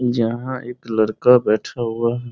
जहाँ एक लड़का बैठा हुआ --